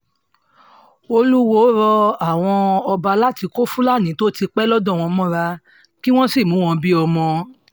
olúwọ́ọ́ rọ àwọn ọba láti kó fúlàní tó ti pẹ́ lọ́dọ̀ wọn mọ́ra kí wọ́n sì mú wọn bíi ọmọ